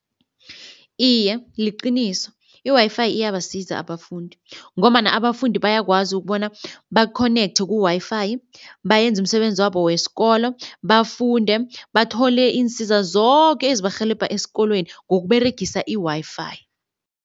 Iye liqiniso, i-Wi-Fi iyabasiza abafundi ngombana abafundi bayakwazi ukubona ba-connect ku-Wi-Fi bayenze umsebenzi wabo wesikolo, bafunde, bathole iinsiza zoke ezibarhelebha esikolweni ngokUberegisa i-Wi-Fi.